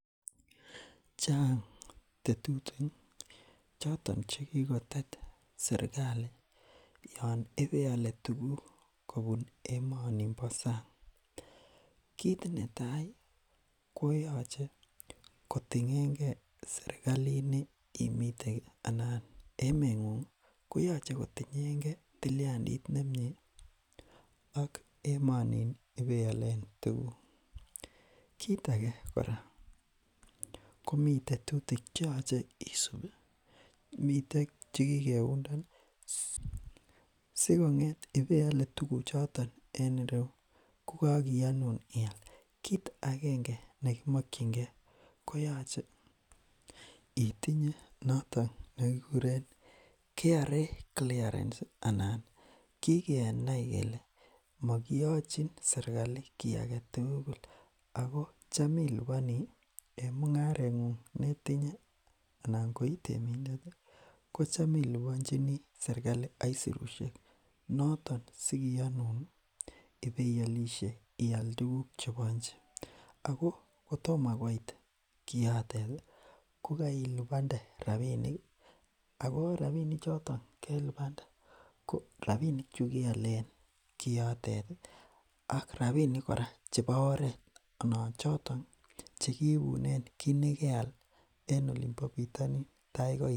chang tetutik choton chekikotet serkali yoon ibeole tuguk kobun emoni bo sang kit netai koyoche kotingengee serkalini imiten anan emengungi koyoche kotingengee tiliandit nemie ak emonin ibeolen tuguk kit ake kora komi tetutik cheyoche isupi miten chekikeundani sikopit ebeole tuguchoton en ireyu kokokiyonun ial kit agenge nekimokyinkee koyoche itinye noton nekikuren kra clearence anan kikenai kele mokiyochin serkali kii agetugul ako cham iliponi en mungarengung ne itinye ana koitemindeti kotam iliponchini serkali aisurushek noton sikiyonuni ibeolishe ial tuguk chebo nche ko kotomo koit kioteti kokeilipnade rapiniki ako rapinik choto kelipande ko rapini chu kealen kioteti ak rapinik kora chebo oret anan choton chekibunen kii nekeal en olimpo bitonin taikoit